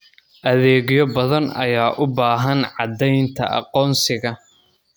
Adeegyo badan ayaa u baahan caddaynta aqoonsiga.